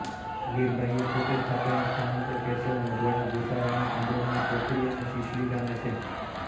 લીરબાઈએ પોતે સ્થાપેલા સ્થાનકો કેશવ મોઢવાડા ગોસા રાણા કંડોરણા કોઠડી અને શિશલી ગામે છે